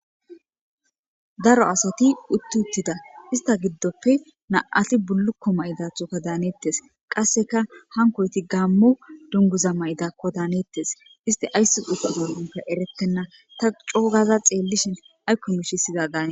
Daro asati utti uttida ista giddoppe na7ati bullukko mayidathoka daanettes qasseka hankoyti gaammo dunguza mayidakko daanettes iste aysse uttuzonpe erettenna ta coogaza xeellishin aykkon ushisiza daan